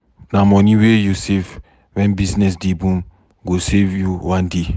Na moni wey you save wen business dey boom go save you one day.